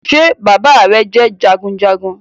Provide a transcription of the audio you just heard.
Ṣé bàbá rẹ jẹ́ jagunjagun